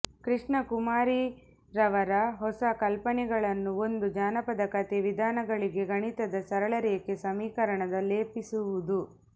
ಕೃಷ್ಣಕುಮಾರಿರವರ ಹೊಸ ಕಲ್ಪನೆಗಳನ್ನು ಒಂದು ಜನಪದ ಕಥೆ ವಿಧಾನಗಳಿಗೆ ಗಣಿತದ ಸರಳ ರೇಖೆ ಸಮೀಕರಣದ ಲೇಪಿಸುವುದು